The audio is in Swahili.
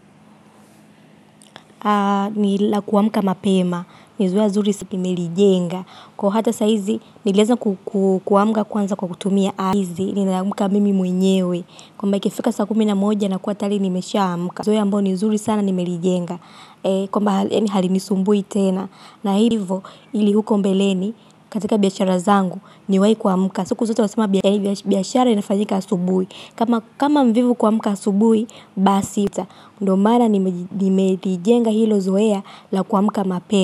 Ni la kuamka mapema. Ni zoea nzuri si nilijenga. Kwa hata saa hizi nilieza kuamka kwanza kwa kutumia niliamka mimi mwenyewe. Kwamba ikifika sa kumi na moja nakuwa tayari nimeshaamka. Ni zoea ambao ni nzuri sana nimelijenga. Kwamba halinisumbui tena na hivyo ili huko mbeleni katika biashara zangu niwahi kuamka. Siku zote wasema biashara inafanyika asubuhi. Kama mvivu kuamka asubuhi baa sita. Ndo maana nimelijenga hilo zoea la kuamka mape.